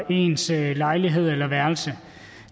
ens lejlighed eller værelse